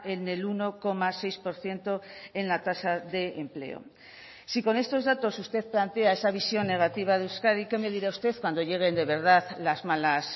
en el uno coma seis por ciento en la tasa de empleo si con estos datos usted plantea esa visión negativa de euskadi qué me dirá usted cuando lleguen de verdad las malas